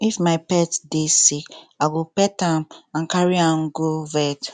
if my pet dey sick i go pet am and carry am go vet